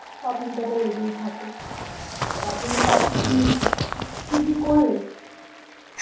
shopping টাতো লেগেই থাকে, তা তুমি shopping কি কি করলে?